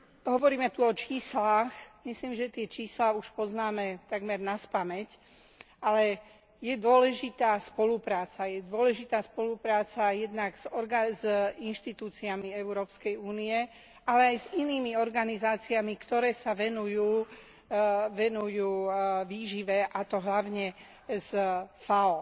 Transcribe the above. Hovoríme tu o číslach myslím, že tie čísla už poznáme takmer naspamäť, ale je dôležitá spolupráca, je dôležitá spolupráca jednak s inštitúciami Európskej únie, ale aj s inými organizáciami, ktoré sa venujú výžive, a to hlavne s FAO.